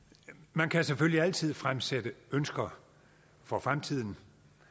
man kan selvfølgelig altid fremsætte ønsker for fremtiden